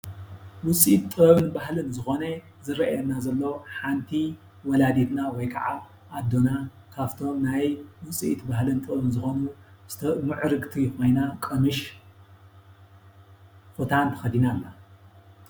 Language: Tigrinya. ውፅኢት ጥበብን ባህልን ዝኮነ ዝርኣየና ዘሎ ሓንቲ ወላዲትና ወይ ከዓ ኣዴና ካፍቶም ናይ ውፅኢት ባህልን ጥበብን ዝኮኑ ምዕርግቲ ኮይና ቀምሽ ኩታን ተከዲና ኣላ።